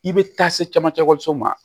I bɛ taa se camancɛ so ma